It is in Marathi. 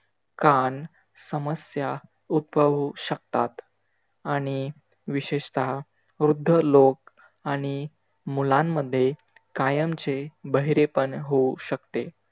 कान, समस्या उद्भवू शकतात. आणि विशेषतः वृद्ध लोक आणि मुलांमध्ये कायमचे बहिरेपण होऊ शकते.